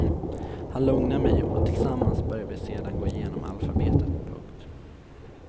Han lugnar mig och tillsammans börjar vi sedan gå igenom alfabetet. punkt